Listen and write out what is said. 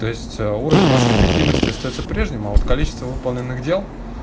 то есть уровень вашей эффективности остаётся прежним а вот количество выполненных дел